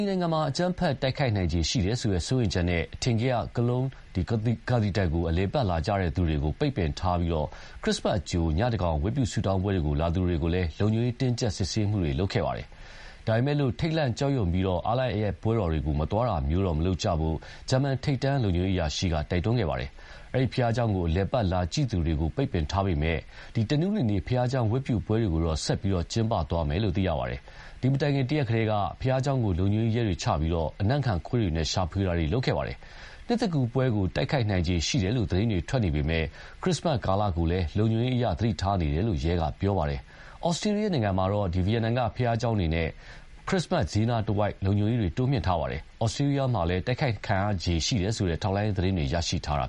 ီနိုင်ငံမှာ အကြမ်းဖက်တိုက်ခိုက်နိုင်ခြေရှိတယ်ဆိုတဲ့စိုးရိမ်ချက်နဲ့ အထင်ကရ Cologne cathedral ကို အလည်အပတ်လာကြည့်သူတွေကို ပိတ်ပင်ထားပြီး ခရစ်စတ်အကြို ညသန်းခေါင်ယံဝတ်ပြုဆုတောင်းပွဲလာသူတွေကို လုံခြုံရေးတင်းကြပ် စစ်ဆေးခဲ့ပါတယ်။ ဒါပေမယ့်လည်း ထိတ်လန့်ကြောက်ရွံပြီး အားလပ်ရက်ပွဲတော်တွေကို မသွားတာမျိုးတွေ မလုပ်ကြဖို့တော့ ဂျာမန်ထိပ်တန်းလုံခြုံရေးအရာရှိက တိုက်တွန်းခဲ့ပါတယ်။ အဲဒီဘုရားကျောင်းကို အလည်အပတ်လာကြည့်သူတွေကို ပိတ်ပင်ထားပေမယ့်လို့လည်း တနင်္ဂနွေနေ့ ဘုရားကျောင်းဝတ်ပြုပွဲတွေကိုတော့ ဆက်လက်ပြီး ကျင်းပသွားမယ်လို့သိရပါတယ်။ ဒီမတိုင်ခင် တရက်ကတည်းက ဘုရားကျောင်းကို လုံခြုံရေးရဲတွေချထားပြီး အနံ့ခံခွေးတွေနဲ့ ရှာဖွေထားခဲ့ပါတယ်။ နှစ်သစ်ကူးပွဲကို တိုက်ခိုက်နိုင်ခြေရှိတယ်လို့ သတင်းတွေထွက်နေပေမယ့် ခရစ္စမတ်ကာလကိုလည်း လုံခြုံရေးအရ သတိထားနေတယ်လို့ ရဲက ပြောပါတယ်။ ဩစတြီးယားနိုင်ငံမှာတော့ ဗီယင်နာက ဘုရားကျောင်းတွေနဲ့ ခရစ္စမတ်ဈေးနားတဝိုက် လုံခြုံရေးတွေ တိုးမြှင့်ထားပါတယ်။ ဩစတြီးယားမှာလည်း တိုက်ခိုက်ခံရနိုင်ခြေရှိတယ်ဆိုတဲ့ ထောက်လှမ်းရေးသတင်းတွေ ရရှိထားတာ